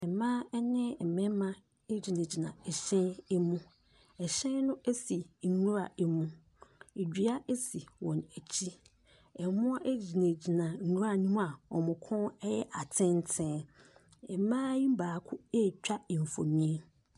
Mmaa ɛne mmɛɛma ɛgyinagyina ɛhyɛn ɛmu. Ɛhyɛn no ɛsi nnwura ɛmu, ɛdua ɛsi wɔn akyi. Mmoa ɛgyinagyina nwura no mu a wɔn kɔn ɛyɛ atenten. Mmaa yi baako ɛretwa mfonini.